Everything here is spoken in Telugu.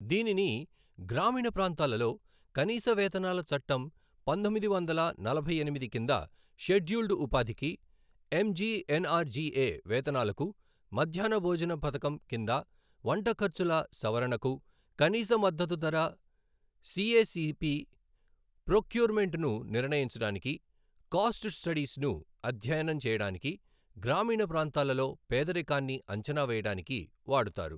దీనిని గ్రామీణ ప్రాంతాలలో కనీస వేతనాల చట్టం పంతొమ్మిది వందల నలభై ఎనిమిది కింద షెడ్యూల్డు ఉపాధికి, ఎంజిఎన్ ఆర్జిఎ వేతనాలకు, మధ్యాహ్న భోజనపథకం కింద వంటఖర్చుల సవరణకు, కనీస మద్దతుధర సిఎసిపి, ప్రోక్యూర్మెంట్ ను నిర్ణయించడానికి, కాస్ట్ స్టడీస్ను అధ్యయనంచేయడానికి, గ్రామీణ ప్రాంతాలలో పేదరికాన్ని అంచనా వేయడానికి వాడుతారు.